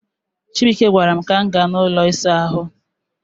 chibuike gwaram ka m ga n'ulo Isa ahu